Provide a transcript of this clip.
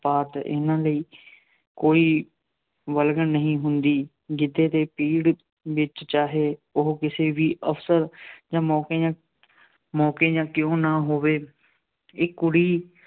ਪਾਤ ਇਹਨਾ ਲਈ ਕੋਈ ਵਲਗਣ ਨਹੀਂ ਹੁੰਦੀ। ਗਿੱਧੇ ਦੇ ਪਿੜ੍ਹ ਵਿੱਚ ਚਾਹੇ ਉਹ ਕਿਸੇ ਵੀ ਅਵਸਰ ਜਾਂ ਮੌਕੇ ਜਾਂ ਮੌਕੇ ਜਾਂ ਕਿਉਂ ਨਾ ਹੋਵੇ। ਇੱਕ ਕੁੜੀ